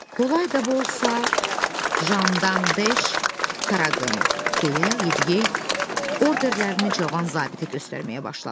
Kolay da olsa, Jandarmdeş Qaraqım, deyə yediyey orderlərini cavan zabitə göstərməyə başladı.